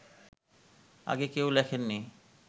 আগে কেউ লেখেননি